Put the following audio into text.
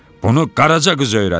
Bunu qaraca qız öyrədib.